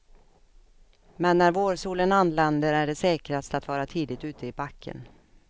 Men när vårsolen anländer är det säkrast att vara tidigt ute i backen.